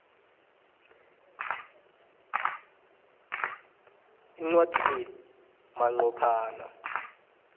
incwadi le manqophana